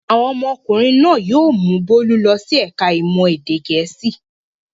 Àwọn ọmọkùnrin náà yóò mú Bólú lọ sí ẹ̀ka-ìmọ̀ èdè Gẹ̀ẹ́sì.